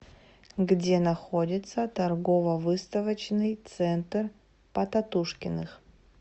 где находится торгово выставочный центр потатушкиных